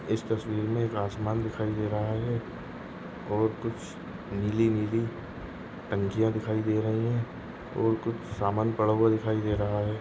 इस तस्वीर मे आसमान दिखाई दे रहा है और कुछ नीली नीली टंकिया दिखाई दे रही है और कुछ सामान पड़ा हुआ दिखाई दे रहा है।